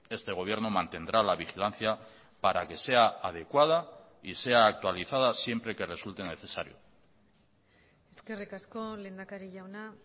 este gobierno mantendrá la vigilancia para que sea adecuada y sea actualizada siempre que resulte necesario eskerrik asko lehendakari jauna